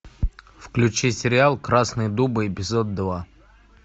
включи сериал красные дубы эпизод два